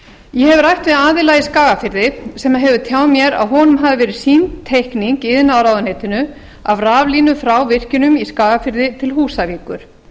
ég hef rætt við aðila í skagafirði sem hefur tjáð mér að honum hafi verið sýnd teikning í iðnaðarráðuneytinu af raflínu frá virkjunum í skagafirði til húsavíkur